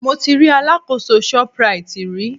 Mi ò tíì rí alákòóso Shoprite rí.